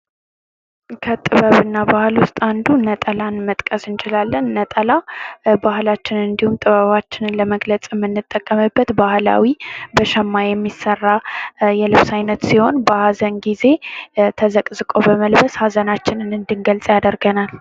ከጥበብና ባህል ውስጥ አንዱ ነጠላን መጥቀስ እንችላለን። ነጠላ ባህላችንን እንዲሁም ጥበባችንን ለመግለጽ የምንጠቀምበት ባህላዊ በሸማ የሚሰራ የልብስ አይነት ሲሆን ፤ በሀዘን ጊዜ በመልበስ ሃዘናችንን እንድንገልጽ ያደርገናል።